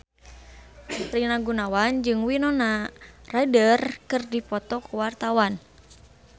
Rina Gunawan jeung Winona Ryder keur dipoto ku wartawan